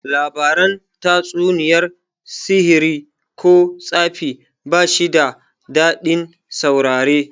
Labaran tatsuniyar sihiri ko tsafi bashi da dadin saurare